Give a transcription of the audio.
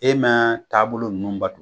E ma taabolo nUnnu bato